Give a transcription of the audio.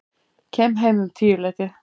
Kem heim um tíuleytið.